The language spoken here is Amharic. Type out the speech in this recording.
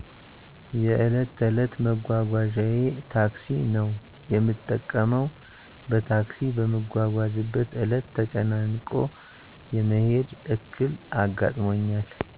የዕለት ተዕለት መጓጓዣየ ታክሲ ነው የምጠቀመው። በታክሲ በምትጓዝበት ዕለት ተጨናንቆ የመሄድ ዕክል አጋጥሞኛል።